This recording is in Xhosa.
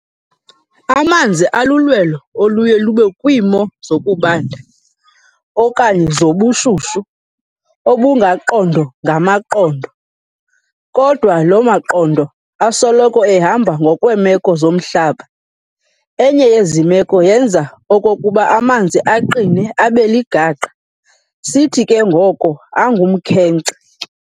Amanzi alulwelo oluye lube kwiimo zokubanda okanye zobushushu obungaqondo-ngamaqondo, kodwa loo maqondo asoloko ehamba ngokwemeko zomhlaba, enye yezi meko yenza okokuba amanzi aqine abe ligaqa, sithi ke ngoko angumkhenkce.